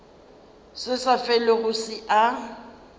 se sa felego se a